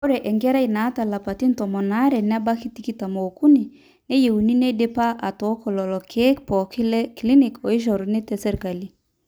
ore enkerai naata ilapaitin tomon aare nebaiki tikitam ookuni neyieuni neidipa atooko lelo keek pooki le clinic ooishoruno tesirkali